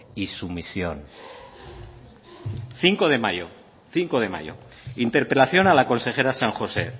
y sumisión cinco de mayo interpelación a la consejera san josé